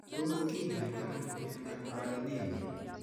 Tos kinyaita ano miondap valinemia